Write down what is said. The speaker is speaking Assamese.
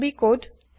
Ruby code